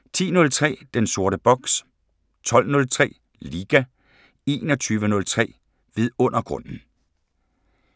10:03: Den sorte boks 12:03: Liga 21:03: Vidundergrunden